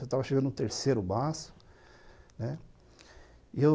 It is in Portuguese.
Eu estava chegando no terceiro maço, né? E eu